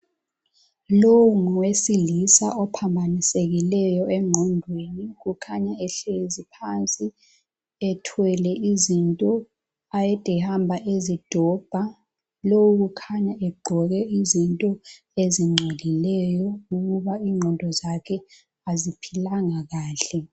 Lowo ngowesilisa ophambanisekileyo engqondweni kukhanya ehlezi phansi ethwele izinto ade ehamba ezidobha. Lo ukhanya egqoke izinto ezingcolileyo kubukeka ingqondo zakhe azimanga kahle.